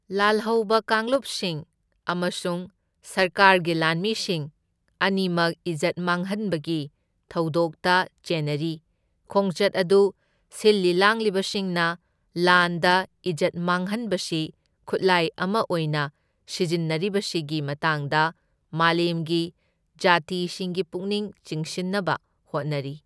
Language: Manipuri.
ꯂꯥꯜꯍꯧꯕ ꯀꯥꯡꯂꯨꯞꯁꯤꯡ ꯑꯃꯁꯨꯡ ꯁꯔꯀꯥꯔꯒꯤ ꯂꯥꯟꯃꯤꯁꯤꯡ ꯑꯅꯤꯃꯛ ꯢꯖꯠ ꯃꯥꯡꯍꯟꯕꯒꯤ ꯊꯧꯗꯣꯛꯇ ꯆꯦꯟꯅꯔꯤ, ꯈꯣꯡꯆꯠ ꯑꯗꯨ ꯁꯤꯜꯂꯤ ꯂꯥꯡꯂꯤꯕꯁꯤꯡꯅ ꯂꯥꯟꯗ ꯢꯖꯠ ꯃꯥꯡꯍꯟꯕꯁꯤ ꯈꯨꯠꯂꯥꯢ ꯑꯃ ꯑꯣꯏꯅ ꯁꯤꯖꯤꯟꯅꯔꯤꯕꯁꯤꯒꯤ ꯃꯇꯥꯡꯗ ꯃꯥꯂꯦꯝꯒꯤ ꯖꯥꯇꯤꯁꯤꯡꯒꯤ ꯄꯨꯛꯅꯤꯡ ꯆꯤꯡꯁꯤꯟꯅꯕ ꯍꯣꯠꯅꯔꯤ꯫